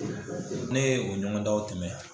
Ne ye o ɲɔgɔn danw tɛmɛ